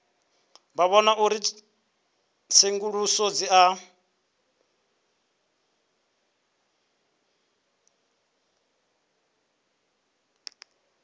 vhona uri tsenguluso dzi a